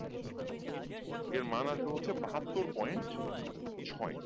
এর মান আসবে হচ্ছে বাহাত্তর point ছয়